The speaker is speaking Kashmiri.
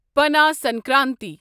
پنا سنکرانتی